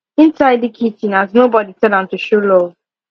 him tidy kitchen as nobody tell am to show love